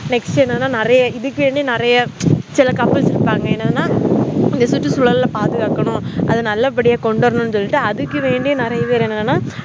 nnext என்னனா நெறைய இதுகாண்டி நெறைய சில couples இருகாங்க எனதுனா சுற்றுசூழல் பாதுகாக்கணும் அது நல்ல படியா கொண்டுவரணும் சொல்ட்டு அதுகாண்டி நெறைய பேர்